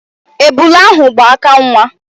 Ebula ahụ gba aka nwa.